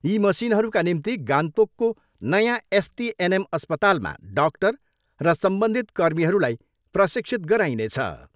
यी मसिनहरूका निम्ति गान्तोकको नयाँ एसटिएनएम अस्पतालमा डाक्टर र सम्बन्धित कर्मीहरूलाई प्रशिक्षित गराइनेछ।